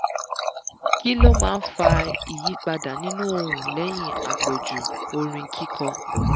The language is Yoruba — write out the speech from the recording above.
kí ló máa ń fa ìyípadà nínú ohun lẹ́yìn àpọ̀jù orin kíkọ?